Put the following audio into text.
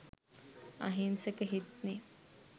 අහිංසක හිත්නෙ